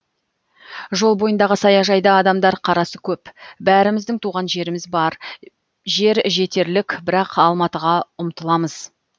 жол бойындағы саяжайда адамдар қарасы көп бәріміздің туған жеріміз бар жер жетерлік бірақ алматыға ұмтыламыз